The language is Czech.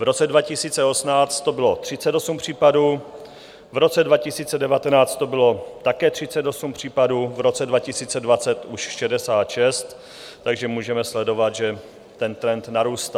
V roce 2018 to bylo 38 případů, v roce 2019 to bylo také 38 případů, v roce 2020 už 66, takže můžeme sledovat, že ten trend narůstá.